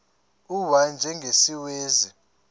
u y njengesiwezi